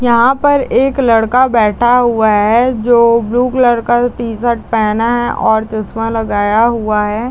यहाँ पर एक लड़का बैठा हुआ है जो ब्लू कलर का टी-शर्ट पहना है और चश्मा लगाया हुआ है।